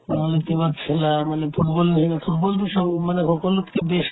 নহ'লে কিবা খেলা মানে football বেছিকে football তো চব মানে সকলোতকে best